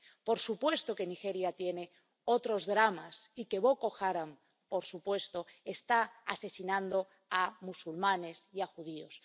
Por supuesto que Nigeria tiene otros dramas y que Boko Haram, por supuesto, está asesinando a musulmanes y a judíos.